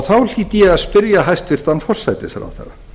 þá hlýt ég að spyrja hæstvirtan forsætisráðherra